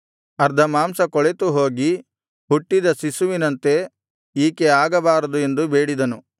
ಅರ್ಧ ಮಾಂಸ ಕೊಳೆತುಹೋಗಿ ಹುಟ್ಟಿದ ಶಿಶುವಿನಂತೆ ಈಕೆ ಆಗಬಾರದು ಎಂದು ಬೇಡಿದನು